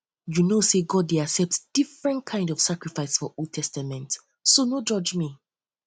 you no know say god dey accept different kind of sacrifice for old testament so no judge me